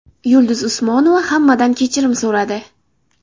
Yulduz Usmonova hammadan kechirim so‘radi .